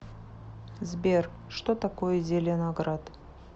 сбер что такое зеленоград